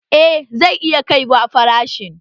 Eh zai iya kaiwa farashin